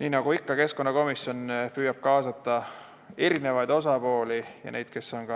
Nii nagu ikka, keskkonnakomisjon püüab kaasata eri osapooli ja neid, kes on